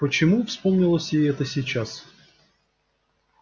почему вспомнилось ей это сейчас